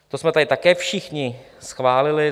To jsme tady také všichni schválili.